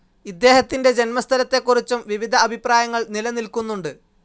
ഇദ്ദേഹത്തിൻ്റെ ജന്മസ്ഥലത്തെക്കുറിച്ചും വിവിധ അഭിപ്രായങ്ങൾ നിലനിൽക്കുന്നുണ്ട്.